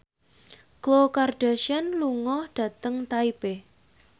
Khloe Kardashian lunga dhateng Taipei